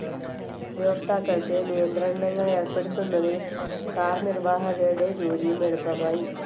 ഉപയോക്താക്കൾക്ക് നിയന്ത്രണങ്ങളേർപ്പെടുത്തുന്നതിൽ കാർനിർവാഹകരുടെ ജോലിയും എളുപ്പമായി.